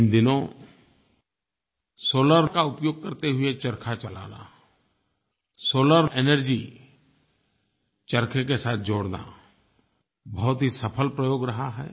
इन दिनों सोलार का उपयोग करते हुए चरखा चलाना सोलार एनर्जी चरखे के साथ जोड़ना बहुत ही सफल प्रयोग रहा है